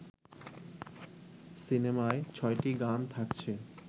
সিনেমায় ছয়টি গান থাকছে